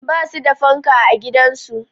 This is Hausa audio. Ba su da fanka a gidansu